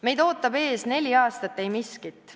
Meid ootab ees neli aastat eimiskit.